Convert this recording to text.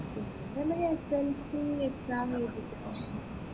എൻെറ ഉമ്മ slc exam എഴുതിയിട്ടുണ്ട്